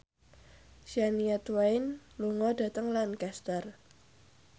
Shania Twain lunga dhateng Lancaster